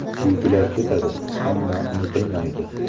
“Buyuklar ketadi, ammo unutilmaydi”.